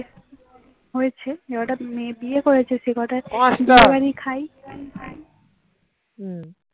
হম